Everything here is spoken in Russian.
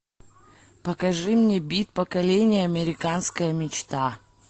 покажи мне бит поколение американская мечта